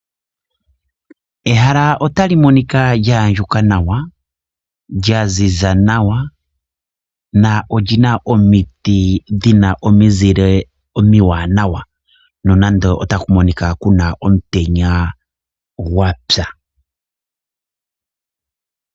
Ehala otali monika lya andjuka nawa lyaziza nawa lyo oli na omiti dhi na omizile omiwanawa ,nonando otaku monika ku na omutenya gwa tsa.